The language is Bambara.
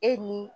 E ni